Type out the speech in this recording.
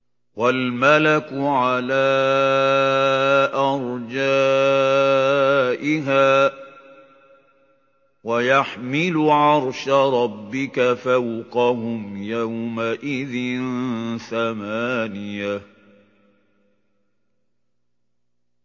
وَالْمَلَكُ عَلَىٰ أَرْجَائِهَا ۚ وَيَحْمِلُ عَرْشَ رَبِّكَ فَوْقَهُمْ يَوْمَئِذٍ ثَمَانِيَةٌ